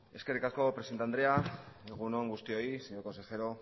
eskerrik asko presidente andrea egun on guztioi señor consejero